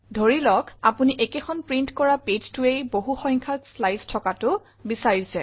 ধৰি লওক আপোনি একেখন প্ৰিণ্ট কৰা pageতেই বহুসংখ্যক শ্লাইডছ থকাটো বিচাৰিছে